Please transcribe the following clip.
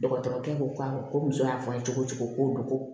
Dɔgɔtɔrɔkɛ ko k'a ko muso y'a fɔ n ye cogo o cogo ko dogo